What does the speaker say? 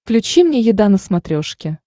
включи мне еда на смотрешке